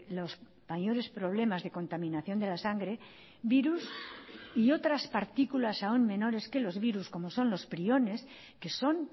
los mayores problemas de contaminación de la sangre virus y otras partículas aún menores que los virus como son los priones que son